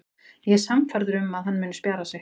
Ég er sannfærður um að hann muni spjara sig.